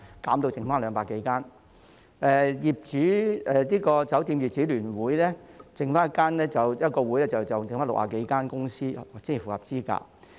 酒店業則只剩下一個指定團體，即香港酒店業主聯會，這個聯會只有60多間公司符合資格。